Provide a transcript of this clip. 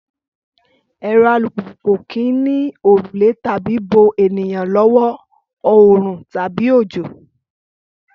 Ẹ̀rọ alùpùpù kò kì í ní òrùlé láti bo ènìyàn lọ́wọ́ oòrùn tàbí òjò